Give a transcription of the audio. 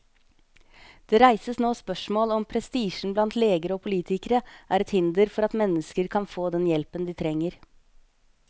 Det reises nå spørsmål om prestisjen blant leger og politikere er et hinder for at mennesker kan få den hjelpen de trenger.